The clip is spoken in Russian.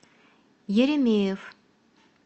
еремеев